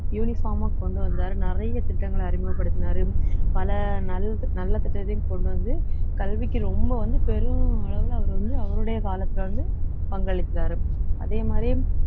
uniform ஆ கொண்டு வந்தாரு நிறைய திட்டங்களை அறிமுகப்படுத்தினாரு பல நல்~ நல்ல திட்டத்தையும் கொண்டு வந்து கல்விக்கு ரொம்ப வந்து பெரும் அளவுல அவர் வந்து அவருடைய காலத்துல வந்து பங்களிக்கறாரு அதே மாதிரி